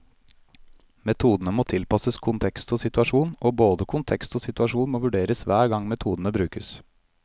Metodene må tilpasses kontekst og situasjon, og både kontekst og situasjon må vurderes hver gang metodene brukes.